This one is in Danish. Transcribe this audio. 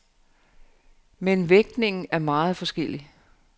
Men vægtningen er meget forskellig.